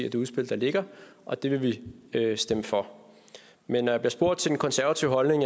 i det udspil der ligger og at det vil vi stemme for men når jeg bliver spurgt til den konservative holdning